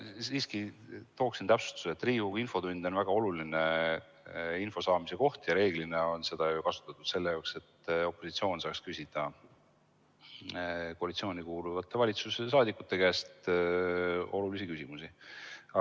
Ma siiski tooksin täpsustuse: Riigikogu infotund on väga oluline info saamise koht ja reeglina on seda kasutatud selleks, et opositsioon saaks küsida koalitsiooni kuuluvate valitsusliikmete käest olulisi küsimusi.